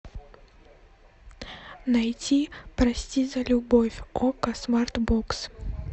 найти прости за любовь окко смарт бокс